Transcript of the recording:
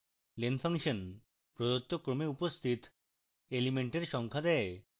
len function প্রদত্ত ক্রমে উপস্থিত elements সংখ্যা দেয়